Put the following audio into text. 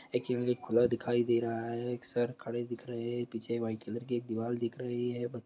एक खुला दिखाई दे रहा है। एक सर खड़े दिख रहे है पीछे वाइट कलर की एक दीवाल दिख रही है।